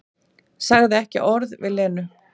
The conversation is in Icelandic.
Sagði ekki orð við Lenu.